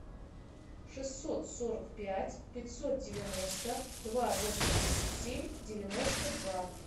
шестьсот сорок пять пятьсот девяносто два восемьдесят семь девяносто два